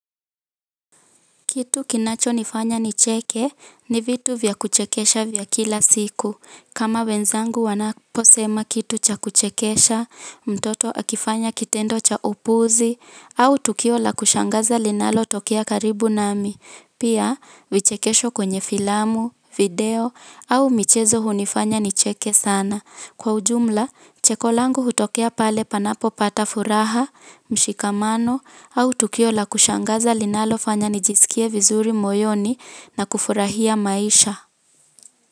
Kitu kinacho nifanya ni cheke, ni vitu vya kuchekesha vya kila siku. Kama wenzangu wanaposema kitu cha kuchekesha, mtoto akifanya kitendo cha upuzi, au tukio la kushangaza linalo tokea karibu nami. Pia, vichekesho kwenye filamu, video, au michezo hunifanya ni cheke sana. Kwa ujumla, chekolangu hutokea pale panapo pata furaha, mshikamano, au tukio la kushangaza linalofanya nijisikie vizuri moyoni na kufurahia maisha.